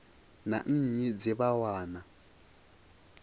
na nnyi dze vha wana